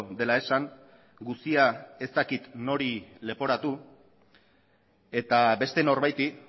dela esan guztia ez dakit nori leporatu eta beste norbaiti